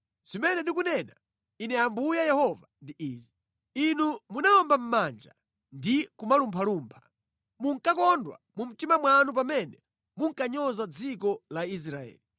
Zimene ndikunena Ine Ambuye Yehova ndi izi: Inu munawomba mʼmanja ndi kumalumphalumpha. Munkakondwa mu mtima mwanu pamene munkanyoza dziko la Israeli.